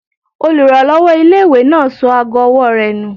Olùrànlọ́wọ́ ilé-ìwé náà sọ ago ọwọ́ rẹ̀ nù